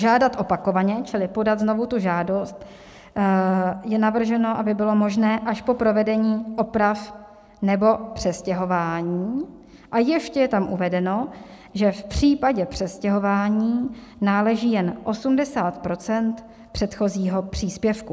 Žádat opakovaně, čili podat znovu tu žádost, je navrženo, aby bylo možné až po provedení oprav nebo přestěhování, a ještě je tam uvedeno, že v případě přestěhování náleží jen 80 % předchozího příspěvku.